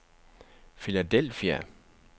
Philadelphia